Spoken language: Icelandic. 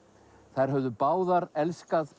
þær höfðu báðar elskað